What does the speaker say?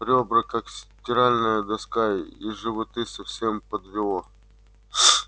рёбра как стиральная доска и животы совсем подвело